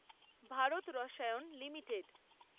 Bharat Rasayan limited